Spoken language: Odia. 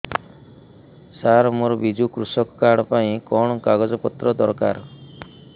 ସାର ମୋର ବିଜୁ କୃଷକ କାର୍ଡ ପାଇଁ କଣ କାଗଜ ପତ୍ର ଦରକାର